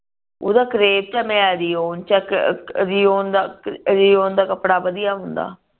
ਓਦਾ ਕਰੇਪ ਚ ਆ ਮੇਰਾ ਰਏਓਨ ਚ ਆ ਹੁੰਦਾ